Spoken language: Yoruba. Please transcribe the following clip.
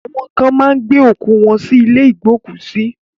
Awọn kan máa ń gbé òkú wọ́n sí ilé ìgbókùsí.